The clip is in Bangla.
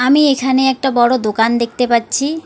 আমি এখানে একটা বড় দোকান দেখতে পাচ্ছি।